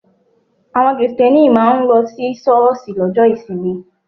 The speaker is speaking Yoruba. Àwọn Kristẹni máa ń lọ sí ṣọ́ọ̀ṣì lọ́jọ́ ìsinmi.